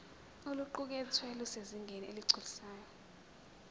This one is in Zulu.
oluqukethwe lusezingeni eligculisayo